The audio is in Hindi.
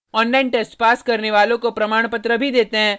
online test pass करने वालों को प्रमाणपत्र भी देते हैं